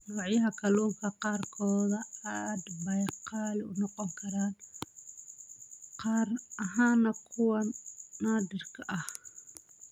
Noocyada kalluunka qaarkood aad bay qaali u noqon karaan, gaar ahaan kuwa naadirka ah.